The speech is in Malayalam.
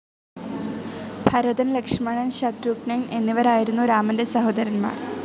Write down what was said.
ഭരതൻ, ലക്ഷ്മണൻ, ശത്രുഘ്‌നൻ എന്നിവരായിരുന്നു രാമൻ്റെ സഹോദരൻമാർ.